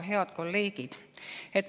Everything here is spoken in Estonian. Head kolleegid!